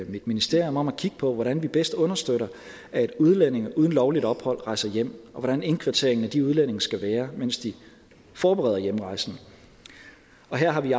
mit ministerium om at kigge på hvordan vi bedst understøtter at udlændinge uden lovligt ophold rejser hjem og hvordan indkvarteringen af de udlændinge skal være mens de forbereder hjemrejsen og her har vi